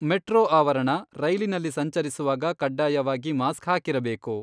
Metro ಆವರಣ, ರೈಲಿನಲ್ಲಿ ಸಂಚರಿಸುವಾಗ ಕಡ್ಡಾಯವಾಗಿ ಮಾಸ್ಕ್ ಹಾಕಿರಬೇಕು.